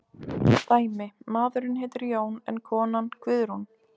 Dæmi: Maðurinn heitir Jón en konan Guðrún.